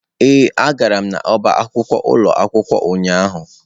Ee, agara m n'ọbá akwụkwọ ụlọ akwụkwọ ụnyahụ.